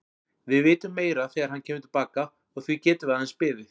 Við vitum meira þegar hann kemur til baka og því getum við aðeins beðið.